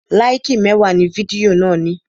Láìkì mẹ́wàá ni fidió náà ní.